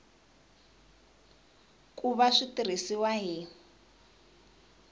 ku va swi tirhisiwa hi